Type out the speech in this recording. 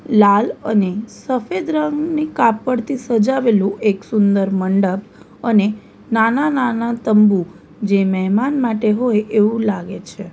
લાલ અને સફેદ રંગની કાપડથી સજાવેલું એક સુંદર મંડપ અને નાના-નાના તંબુ જે મહેમાન માટે હોય એવું લાગે છે.